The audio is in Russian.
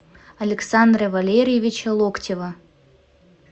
александра валерьевича локтева